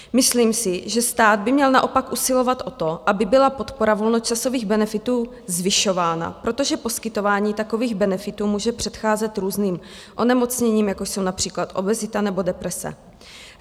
Myslím si, že stát by měl naopak usilovat o to, aby byla podpora volnočasových benefitů zvyšována, protože poskytování takových benefitů může předcházet různým onemocněním, jako jsou například obezita nebo deprese.